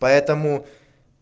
поэтому